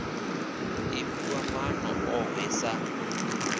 i fhiwa maana ohe sa